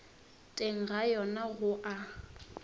teng ga yona go a